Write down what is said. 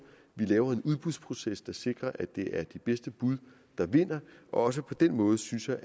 vi laver en udbudsproces der sikrer at det er de bedste bud der vinder og også på den måde synes jeg